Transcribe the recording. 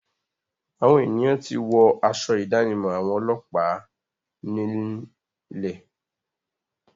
Àwọn ènìyàn ti wọ́ aṣọ ìdánimọ̀ àwọn ọlọ́pàá nílẹ̀.